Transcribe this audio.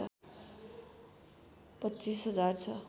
२५ हजार छ